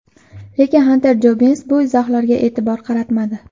Lekin Xanter Jobbins bu izohlarga e’tibor qaratmadi.